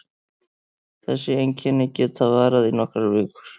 Þessi einkenni geta varað í nokkrar vikur.